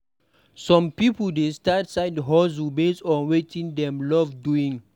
Some pipo dey start side-hustles based on wetin dem love doing.